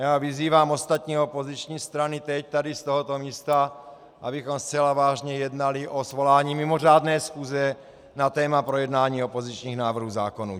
Já vyzývám ostatní opoziční strany teď, tady z tohoto místa, abychom zcela vážně jednali o svolání mimořádné schůze na téma projednání opozičních návrhů zákonů.